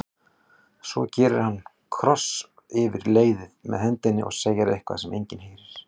Svo gerir hann kross yfir leiðið með hendinni og segir eitthvað sem enginn heyrir.